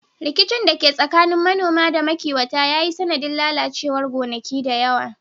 Rikicin da ke tsakanin manoma da makiwata ya yi sanadin lalacewar gonaki da yawa.